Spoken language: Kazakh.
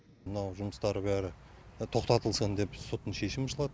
мынау жұмыстары бәрі тоқтатылсын деп соттың шешімі